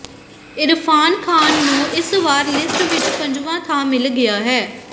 ਇਰਫ਼ਾਨ ਖ਼ਾਨ ਨੂੰ ਇਸ ਵਾਰ ਲਿਸਟ ਵਿੱਚ ਪੰਜਵਾਂ ਥਾਂ ਮਿਲ ਗਿਆ ਹੈ